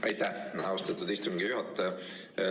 Aitäh, austatud istungi juhataja!